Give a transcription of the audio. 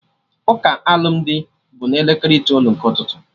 Ụka alụmdi bụ na elekere itoolu nke ụtụtụ